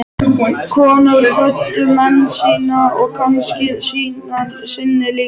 Konur kvöddu menn sína og kannski syni líka.